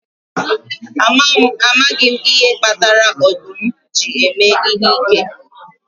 Amaghị m ihe kpatara ọdụm ji eme ihe ike